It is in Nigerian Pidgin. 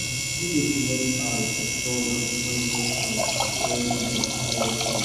no dey comot eye for thorn and poisonous plant when you dey clear bush